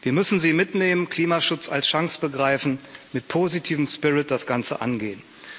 Wir müssen sie mitnehmen, Klimaschutz als Chance begreifen, mit positivem spirit das Ganze angehen.